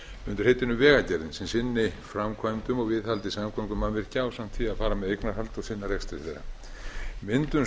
undir heitinu vegagerðin sem sinni framkvæmdum og viðhaldi samgöngumannvirkja ásamt því að fara með eignarhald og sinna rekstri þeirra myndun